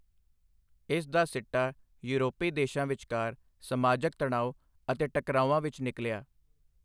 ਇਸ ਦਾ ਸਿੱਟਾ ਯੂਰਪੀ ਦੇਸ਼ਾਂ ਵਿਚਕਾਰ ਸਮਾਜਕ ਤਣਾਉ ਅਤੇ ਟਕਰਾਉਆਂ ਵਿਚ ਨਿਕਲਿਆ।